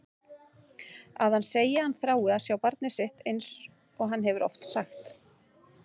Að hann segi að hann þrái að sjá barnið sitt einsog hann hefur oft sagt.